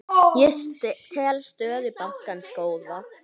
Ég tel stöðu bankans góða.